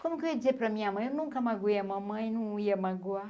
Como que eu ia dizer para a minha mãe, eu nunca magoei a mamãe, não ia magoar?